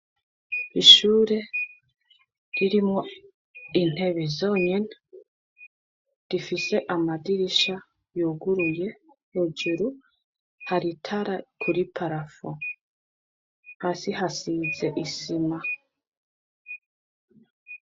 Ishure ririmwo intebe zonyene, rifise amadirisha yuguruye hejuru hari itara kuri parafo, hasi hasize isima.